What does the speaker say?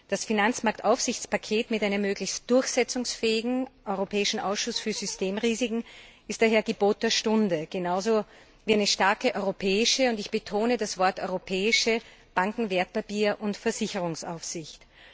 Das Finanzmarktaufsichtspaket mit einem möglichst durchsetzungsfähigen Europäischen Ausschuss für Systemrisiken ist daher Gebot der Stunde ebenso wie eine starke europäische und ich betone das Wort europäische Banken Wertpapier und Versicherungsaufsicht.